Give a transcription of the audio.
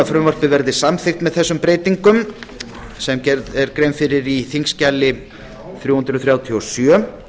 frumvarpið verði samþykkt með framangreindum breytingum sem gerð er tillaga um í þingskjali þrjú hundruð þrjátíu og sjö